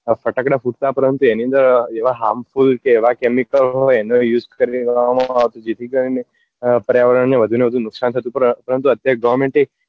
ફટાકડા ફૂટતા પરંતુ એની અંદર એવા harmful કે એવા chemical ને એનો use કરી દેવા માં જેથી કરી ને અ પર્યાવરણ ને વધુ ને વધુ નુકસાન થતું પરંતુ અત્યારે government એ